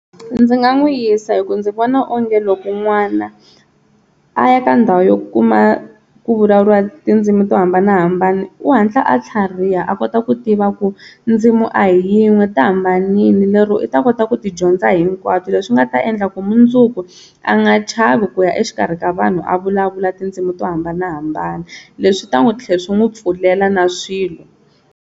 Ndzi nga n'wi yisa hi ku ndzi vona onge loko n'wana a ya ka ndhawu yo kuma ku vulavuriwa tindzimi to hambanahambana u hatla a tlhariha a kota ku tiva ku ndzimi a hi yin'we ti hambanile lero i ta kota ku ti dyondza hinkwato leswi nga ta endla ku mundzuku a nga chavi ku ya exikarhi ka vanhu a vulavula tindzimi to hambanahambana, leswi swi ta n'wi tlhela swi n'wi pfulela na swilo.